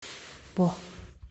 бо